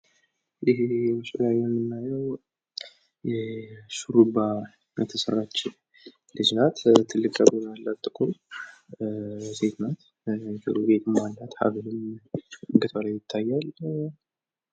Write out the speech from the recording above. እዚህ በምስሉ ላይ የምናየው ሹሩባ የተሰራች ልጅ ናት። ትልቅ ፀጉር ያላት ጥቁር ሴት ናት። ጆሮ ጌጥም አላት ሀብልም አንገቷ ላይ ይታያል።